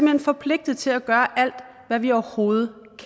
hen forpligtet til at gøre alt hvad vi overhovedet